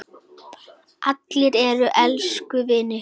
Allir eru elsku vinir.